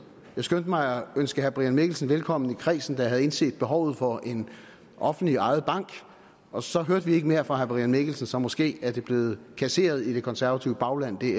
jeg skyndte mig at ønske herre brian mikkelsen velkommen i kredsen der havde indset behovet for en offentligt ejet bank og så hørte vi ikke mere fra herre brian mikkelsen så måske er det blevet kasseret i det konservative bagland det